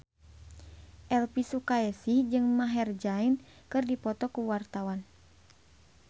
Elvy Sukaesih jeung Maher Zein keur dipoto ku wartawan